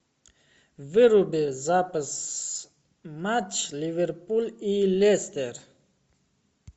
выруби запись матч ливерпуль и лестер